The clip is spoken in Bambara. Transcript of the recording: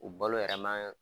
O balo yɛrɛma.